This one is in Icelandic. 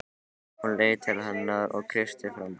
Hún leit til hennar og kreisti fram bros.